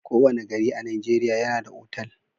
Ko wane gari a nigeria yAna da otal